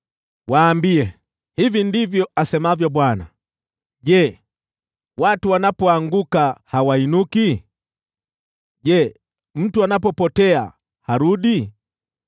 “Waambie, ‘Hivi ndivyo asemavyo Bwana :“ ‘Je, watu wanapoanguka hawainuki? Je, mtu anapopotea harudi?